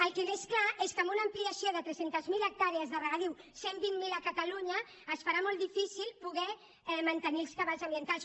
el que és clar és que amb una ampliació de tres cents miler hectàrees de regadiu cent i vint miler a catalunya es farà molt difícil poder mantenir els cabals ambientals